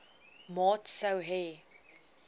maat sou hê